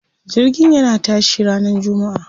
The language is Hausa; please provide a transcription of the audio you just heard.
Jirgin yana tashi ranar jummaa.